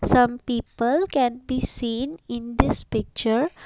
some people can be seen in this picture.